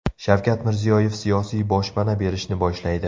Shavkat Mirziyoyev siyosiy boshpana berishni boshlaydi.